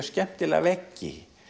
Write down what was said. skemmtilega veggi